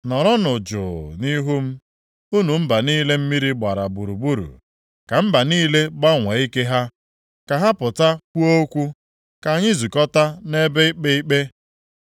Nọrọnụ jụụ nʼihu m, unu mba niile mmiri gbara gburugburu! Ka mba niile gbanwee ike ha. Ka ha pụta kwuo okwu. Ka anyị zukọtaa nʼebe ikpe ikpe.